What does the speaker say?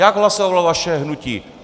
Jak hlasovalo vaše hnutí?